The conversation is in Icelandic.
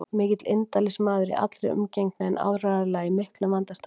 Mikill indælismaður í allri umgengni en áreiðanlega í miklum vanda staddur.